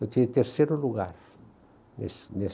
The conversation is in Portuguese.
Eu tinha terceiro lugar nesse nessa